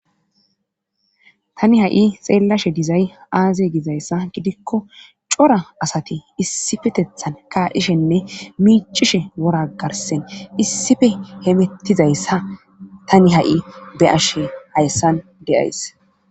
Tani ha7i xeellashe dizay aaze gizayssa gidikko cora asati issifetethan kaadhishenne miicishe woragarsen issife hemettizayssa tani ha7i be ashe hayssan deyays.